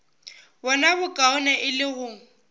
bona bokaone e le go